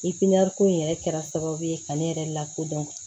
ko in yɛrɛ kɛra sababu ye ka ne yɛrɛ lakodɔn